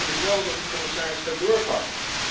Maar we hopen nu wel dat de commissaris gaat doorpakken.